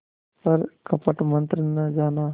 पर कपट मन्त्र न जाना